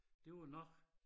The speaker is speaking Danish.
Det var nok